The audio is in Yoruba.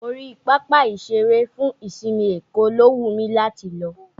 Orí pápá ìṣeré fún ìsinmi Èkó ló wù mí láti lọ